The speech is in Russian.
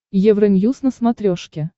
евроньюз на смотрешке